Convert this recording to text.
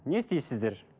не істейсіздер